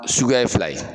Suguya ye fila ye